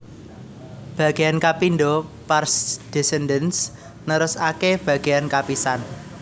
Bagéyan kapindho pars descendens nerusaké bagéyan kapisan